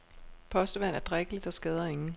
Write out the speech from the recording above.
Postevand er drikkeligt og skader ingen.